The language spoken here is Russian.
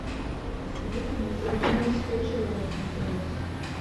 посоветуй мне телеканал сочи лайв на тв